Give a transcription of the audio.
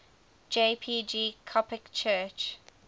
jpg coptic church